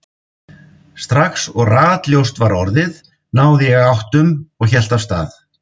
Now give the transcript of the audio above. Strax og ratljóst var orðið náði ég áttum og hélt af stað.